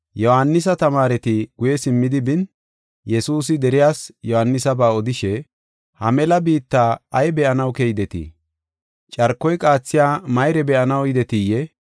Yohaanisa tamaareti guye simmidi bin, Yesuusi deriyas Yohaanisaba odishe, “Ha mela biitta ay be7anaw keydetii? Carkoy qaathiya mayre be7anaw yidetiyee?